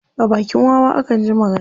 A bakin wawa akan ji magana.